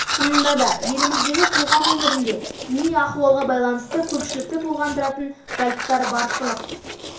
шынында да еліміздегі қоғам өмірінде діни ахуалға байланысты көпшілікті толғандыратын жайттар баршылық